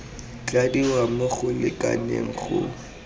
tladiwa mo go lekaneng go